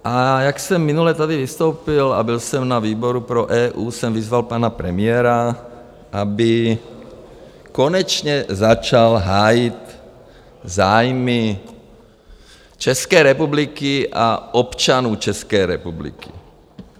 A jak jsem minule tady vystoupil a byl jsem na výboru pro EU, jsem vyzval pana premiéra, aby konečně začal hájit zájmy České republiky a občanů České republiky.